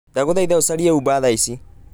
ndagũthaitha ucarie Uber thaa ici